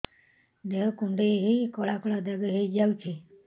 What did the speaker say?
ଦେହ କୁଣ୍ଡେଇ ହେଇ କଳା କଳା ଦାଗ ହେଇଯାଉଛି